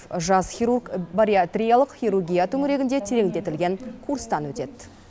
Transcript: жас хирург бариатриялық хирургия төңірегінде тереңдетілген курстан өтеді